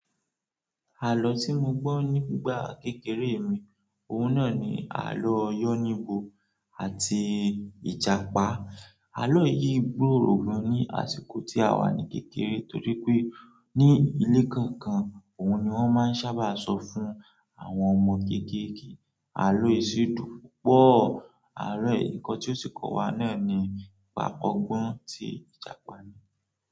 Àlọ́ tí mo gbọ́ nígbà kékeré mi, òun náà ni àlọ́ yọ́níbo àti Ìjàpá. Àlọ́ yìí gbòòrò gan ní àsìkò tí a wà ní kékeré torí pé ní ilé kọ̀ọ̀kan, òun ni wọ́n máa ń sábà sọ fún àwọn ọmọ kékeré. Àlọ́ èsì dùn púpọ̀. Àárọ̀ ẹ̀, nǹkan tí ó sì kò wá náà ni nìpa ògbọ́n tí Ìjàpá ní.